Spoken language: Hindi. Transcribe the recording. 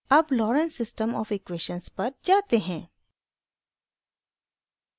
अब lorenz system of equations पर जाते हैं